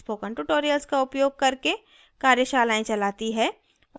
spoken tutorials का उपयोग करके कार्यशालाएं चलाती है